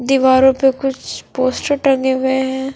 दीवारों पे कुच्छ पोस्टर टंगे हुए है।